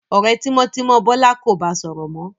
Ọ̀rẹ́ tímọ́tímọ́ Bọ́lá kò ba sọ̀rọ̀ mọ́.